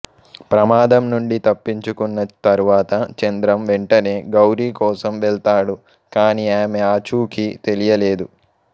ప్రమాదం నుండి తప్పించుకున్న తరువాత చంద్రం వెంటనే గౌరీ కోసం వెళ్తాడు కాని ఆమె ఆచూకీ తెలియలేదు